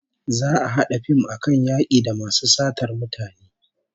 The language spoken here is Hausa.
Za'a a hada fim akan yaki da masu satar mutane